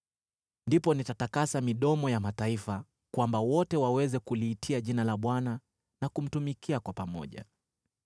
“Ndipo nitatakasa midomo ya mataifa, kwamba wote waweze kuliitia jina la Bwana na kumtumikia kwa pamoja.